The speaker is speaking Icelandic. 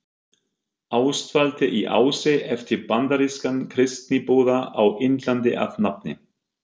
Ástvaldi í Ási eftir bandarískan kristniboða á Indlandi að nafni